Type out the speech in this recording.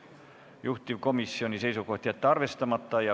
Juhtivkomisjoni seisukoht: jätta arvestamata.